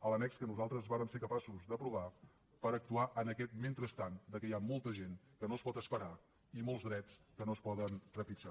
a l’annex que nosaltres vam ser capaços d’aprovar per actuar en aquest mentrestant que hi ha molta gent que no es pot esperar i molts drets que no es poden trepitjar